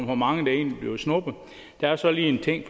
hvor mange der egentlig bliver snuppet der er så lige en ting